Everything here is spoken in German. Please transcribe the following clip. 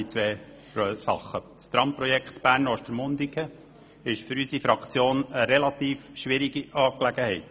Das Tramprojekt Bern–Ostermundigen ist für unsere Fraktion eine relativ schwierige Angelegenheit.